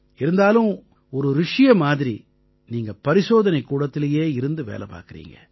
இருந்தாலும் ஒரு ரிஷியை மாதிரி நீங்க பரிசோதனைக் கூடத்திலயே இருந்து வேலை பார்க்கறீங்க